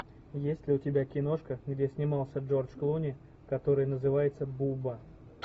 есть ли у тебя киношка где снимался джорж клуни который называется буба